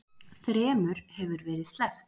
Þremur hefur verið sleppt